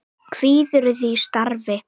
Kvíðirðu því starfi?